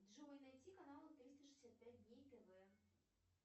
джой найди канал триста шестьдесят пять дней тв